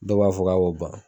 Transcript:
Dɔw b'a fɔ k'a b'o ban